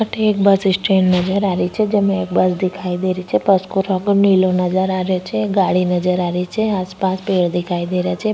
अठे एक bus stand नजर आ रही छे बस को रंग नीलो नजर आ रो छे गाड़ी नजर आ री छे आस पास पेड़ दिखाई दे रा छे।